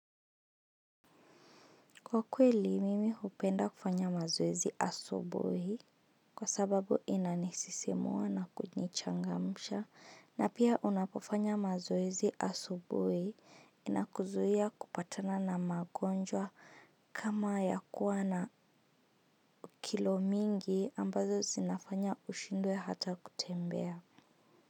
Kwa kweli, mimi hupenda kufanya mazoezi asubuhi kwa sababu inanisisimua na kunichangamusha na pia unapofanya mazoezi asubui inakuzuia kupatana na magonjwa kama ya kuwa na kilo mingi ambazo zinafanya ushindwe hata kutembea.